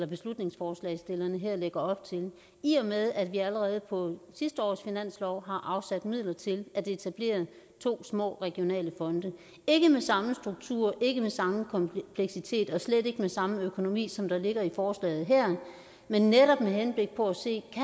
beslutningsforslagsstillerne her lægger op til i og med at vi allerede på sidste års finanslov har afsat midler til at etablere to små regionale fonde ikke med samme struktur ikke med samme kompleksitet og slet ikke med samme økonomi som der ligger i forslaget her men netop med henblik på at se